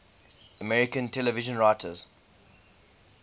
american television writers